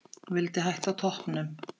Vildi hætta á toppnum.